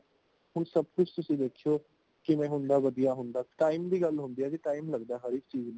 ਹੋਣ ਸਬ ਕੁਜ਼ ਤੁਸੀਂ ਵੇਖਿਓ ਕੇ ਕਿਨਾਂ ਵਧੀਆਂ ਹੋਂਦਾ ,time ਦੀ ਗੱਲ ਹੋਣਦੀ ਹੈ ਜੀ time ਲੱਗਦਾ ਹਰ ਇਕ ਚੀਜ਼ ਨੂੰ